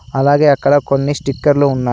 అలాగే అక్కడ కొన్ని స్టిక్కర్లు ఉన్నాయి.